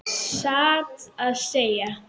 Satt að segja.